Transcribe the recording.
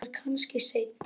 Ég verð kannski seinn.